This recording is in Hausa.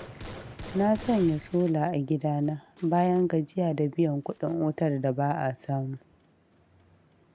Na sanya sola a gidana, bayan gajiya ɗa biyan kuɗin wutar da ba a samu.